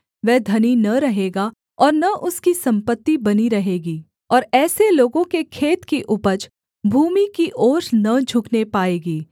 वह धनी न रहेगा ओर न उसकी सम्पत्ति बनी रहेगी और ऐसे लोगों के खेत की उपज भूमि की ओर न झुकने पाएगी